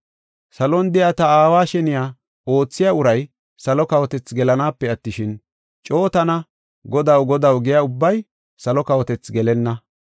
“Salon de7iya ta aawa sheniya oothiya uray salo kawotethi gelanaape attishin, coo tana ‘Godaw, Godaw’ giya ubbay salo kawotethi gelenna.